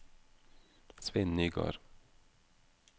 Svein Nygård